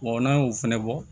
n'a y'o fana bɔ